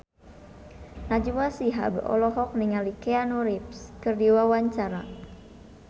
Najwa Shihab olohok ningali Keanu Reeves keur diwawancara